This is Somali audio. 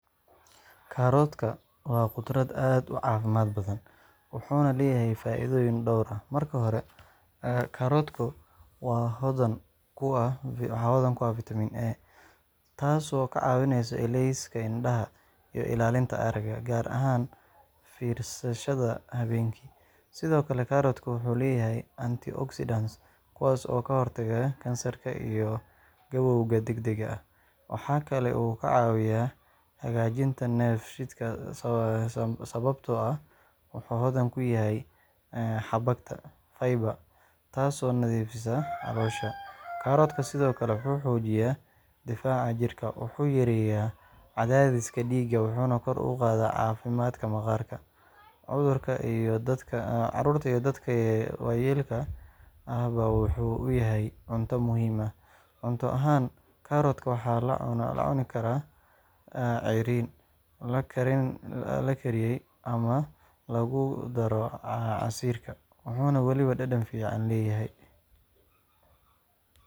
Karootka waa khudrad aad u caafimaad badan, wuxuuna leeyahay faa’iidooyin dhowr ah. Marka hore, karootku waa hodan ku ah vitamin A, taasoo ka caawisa ilayska indhaha iyo ilaalinta aragga, gaar ahaan fiirsashada habeenkii. Sidoo kale, karootka wuxuu leeyahay anti-oxidants kuwaas oo ka hortaga kansarka iyo gabowga degdegga ah. Waxa uu kaloo ka caawiyaa hagaajinta dheefshiidka sababtoo ah wuxuu hodan ku yahay xabagta (fiber), taasoo nadiifisa caloosha. Karootku sidoo kale wuxuu xoojiyaa difaaca jirka, wuxuu yareeyaa cadaadiska dhiigga, wuxuuna kor u qaadaa caafimaadka maqaarka. Carruurta iyo dadka waayeelka ahba wuxuu u yahay cunto muhiim ah. Cunto ahaan, karootka waxaa la cuni karaa ceeriin, la kariyay ama lagu daro casiirka—wuxuuna weliba dhadhan fiican leeyahay!